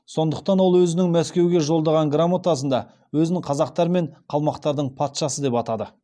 сондықтан ол өзінің мәскеуге жолдаған грамотасында өзін қазақтар мен қалмақтардың патшасы деп атады